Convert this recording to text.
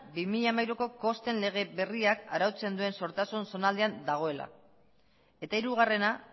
bi mila hamairu kosten lege berriak arautzen duen sortasun zonaldean dagoela eta hirugarrena